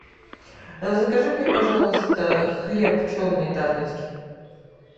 закажи мне пожалуйста хлеб черный дарницкий